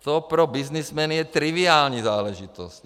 To pro byznysmeny je triviální záležitost.